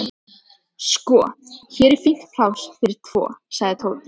Sko, hér er fínt pláss fyrir tvo sagði Tóti.